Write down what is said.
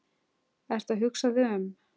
Ertu að hugsa þig um?